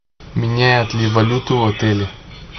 меняют ли валюту в отеле